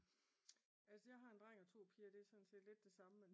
Altså jeg har 1 dreng og 2 piger og det er sådan set lidt det samme